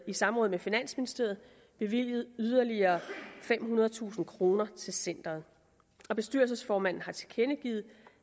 samråd med finansministeriet bevilget yderligere femhundredetusind kroner til centeret og bestyrelsesformanden har tilkendegivet